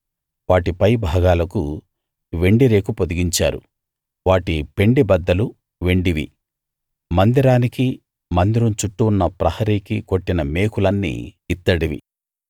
వాటి పైభాగాలకు వెండి రేకు పొదిగించారు వాటి పెండె బద్దలు వెండివి మందిరానికి మందిరం చుట్టూ ఉన్న ప్రహరీకీ కొట్టిన మేకులన్నీ ఇత్తడివి